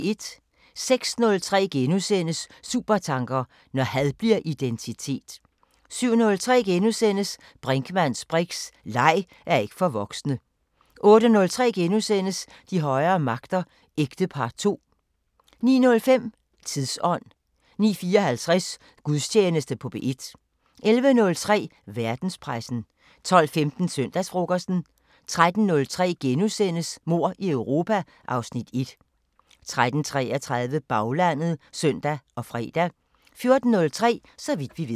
06:03: Supertanker: Når had bliver identitet * 07:03: Brinkmanns briks: Leg er ikke for voksne * 08:03: De højere magter: Ægtepar II * 09:05: Tidsånd 09:54: Gudstjeneste på P1 11:03: Verdenspressen 12:15: Søndagsfrokosten 13:03: Mord i Europa (Afs. 1)* 13:33: Baglandet (søn og fre) 14:03: Så vidt vi ved